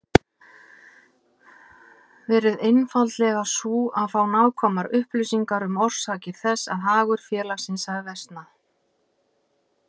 verið einfaldlega sú að fá nákvæmar upplýsingar um orsakir þess að hagur félagsins hafi versnað.